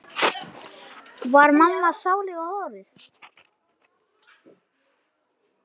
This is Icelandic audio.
Var mamma sáluga horuð?